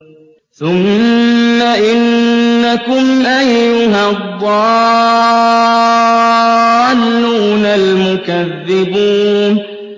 ثُمَّ إِنَّكُمْ أَيُّهَا الضَّالُّونَ الْمُكَذِّبُونَ